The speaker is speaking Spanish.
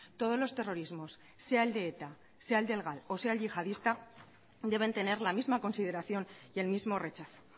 todos los terrorismos sea el de eta sea el del gal o sea el yihadista deben tener la misma consideración y el mismo rechazo